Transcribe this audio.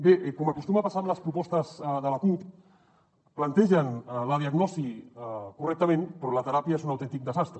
bé com acostuma a passar amb les propostes de la cup plantegen la diagnosi correctament però la teràpia és un autèntic desastre